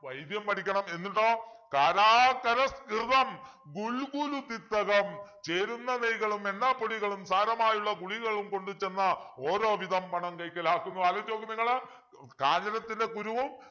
വൈദ്യം പഠിക്കണം എന്നിട്ടോ കാരസ്കരഘൃതം ഗുൽഗുലു തിക്തകം ചേരുന്ന നെയ്കളുമെണ്ണ പൊടികളും സാരമായുള്ള ഗുളികയും കൊണ്ടു ചെന്ന് ഓരോവിധം പണം കൈക്കലാക്കന്നു ആലോചിച്ചു നോക്ക് നിങ്ങള് കാഞ്ഞിരത്തിൻ്റെ കുരുവും